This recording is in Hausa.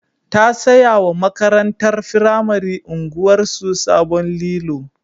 Ta saya wa makatantar firamare unguwarsu sabon lilo.